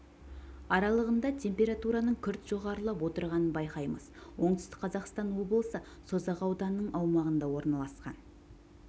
аралығында температураның күрт жоғарылап отырғанын байқаймыз оңтүстік қазақстан облысы созақ ауданының аумағында орналасқан